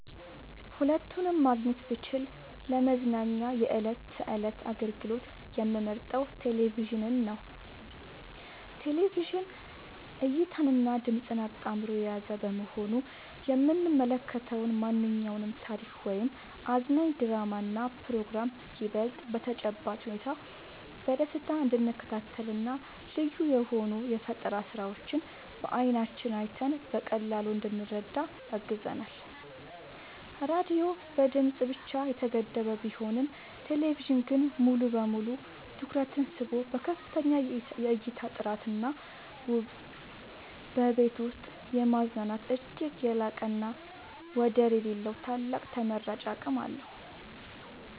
ሁለቱንም ማግኘት ብችል ለመዝናኛ የዕለት ተዕለት አገልግሎት የምመርጠው ቴሌቪዥንን ነው። ቴሌቪዥን እይታንና ድምጽን አጣምሮ የያዘ በመሆኑ የምንመለከተውን ማንኛውንም ታሪክ ወይም አዝናኝ ድራማና ፕሮግራም ይበልጥ በተጨባጭ ሁኔታ በደስታ እንድንከታተልና ልዩ የሆኑ የፈጠራ ስራዎችን በዓይናችን አይተን በቀላሉ እንድንረዳ ያግዘናል። ራዲዮ በድምጽ ብቻ የተገደበ ቢሆንም ቴሌቪዥን ግን ሙሉ በሙሉ ትኩረትን ስቦ በከፍተኛ የእይታ ጥራትና ውበት በቤት ውስጥ የማዝናናት እጅግ የላቀና ወደር የሌለው ታላቅ ተመራጭ አቅም አለው።